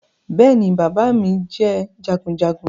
Bẹ́ẹ̀ ni bàbá mi jẹ́ jagunjagun